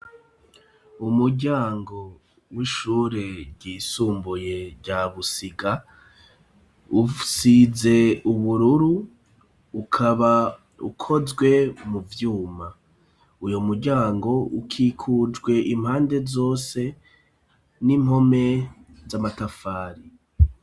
Umuryango ,w'ishure ry'isumbuye rya busiga, usize ubururu, ukaba ukozwe mu vyuma ,uyo muryango ukikujwe impande zose ,n'impome z'amatafari.